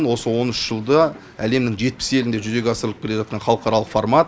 осы он үш жылда әлемнің жетпіс елінде жүзеге асырылып келе жатқан халықаралық формат